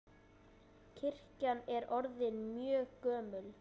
Kirkjan er orðin mjög gömul.